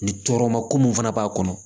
Ni tɔɔrɔ ma ko mun fana b'a kɔnɔ